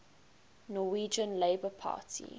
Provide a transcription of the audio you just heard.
norwegian labour party